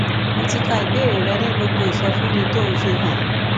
mo ti ka ìbéèrè rẹ ní gbogbo ìsọfúnni tó o fi hàn